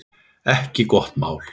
Ekki gott mál.